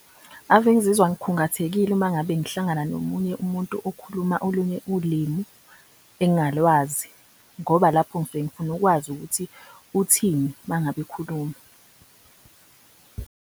Ave ngizizwa ngikhungathekile uma ngabe ngihlangana nomunye umuntu okhuluma olunye ulimi engingalwazi ngoba lapho ngisuke ngifuna ukwazi ukuthi uthini mengabe ekhuluma